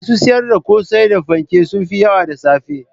Masu siyar da kosai da fanke sun fi yawa da safe